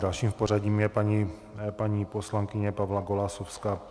Další v pořadí je paní poslankyně Pavla Golasowská.